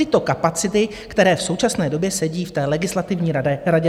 Tyto kapacity, které v současné době sedí v té Legislativní radě vlády.